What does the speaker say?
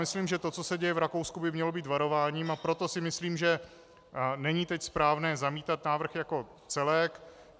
Myslím, že to, co se děje v Rakousku by mělo být varováním, a proto si myslím, že není teď správné zamítat návrh jako celek.